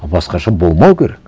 а басқаша болмау керек